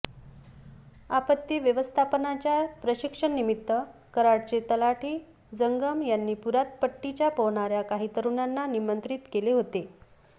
आपत्ती व्यवस्थापनाच्या प्रशिक्षणानिमित्त कराडचे तलाठी जंगम यांनी पुरात पट्टीच्या पोहणाऱ्या काही तरूणांना निमंत्रित केले होते